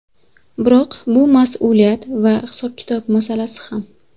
Biroq bu mas’uliyat va hisob-kitob masalasi ham.